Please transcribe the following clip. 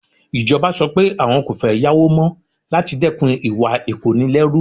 Ìjọba sọ pé àwọn kò fẹ́ yáwó mọ́ láti dẹ́kun ìwà ìkónilẹ́rú.